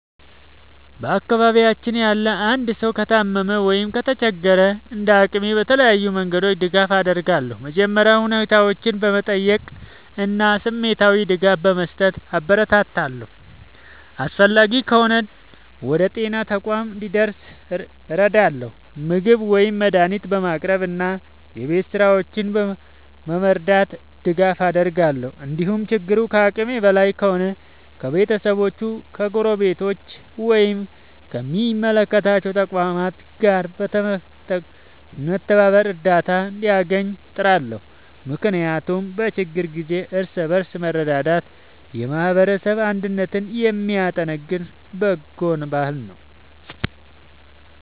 በአካባቢያችን ያለ አንድ ሰው ከታመመ ወይም ከተቸገረ፣ እንደ አቅሜ በተለያዩ መንገዶች ድጋፍ አደርጋለሁ። መጀመሪያ ሁኔታውን በመጠየቅ እና ስሜታዊ ድጋፍ በመስጠት አበረታታዋለሁ። አስፈላጊ ከሆነ ወደ ጤና ተቋም እንዲደርስ እረዳለሁ፣ ምግብ ወይም መድኃኒት በማቅረብ እና የቤት ሥራዎቹን በመርዳት ድጋፍ አደርጋለሁ። እንዲሁም ችግሩ ከአቅሜ በላይ ከሆነ ከቤተሰቦቹ፣ ከጎረቤቶች ወይም ከሚመለከታቸው ተቋማት ጋር በመተባበር እርዳታ እንዲያገኝ እጥራለሁ። ምክንያቱም በችግር ጊዜ እርስ በርስ መረዳዳት የማህበረሰብ አንድነትን የሚያጠናክር በጎ ባህል ነው።